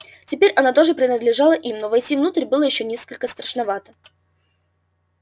теперь она тоже принадлежала им но войти внутрь было ещё несколько страшновато